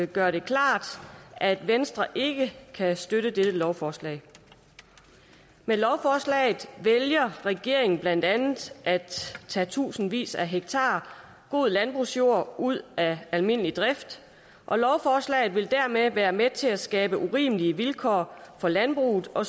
gøre det klart at venstre ikke kan støtte dette lovforslag med lovforslaget vælger regeringen blandt andet at tage tusindvis af hektar god landbrugsjord ud af almindelig drift og lovforslaget vil dermed være med til at skabe urimelige vilkår for landbruget og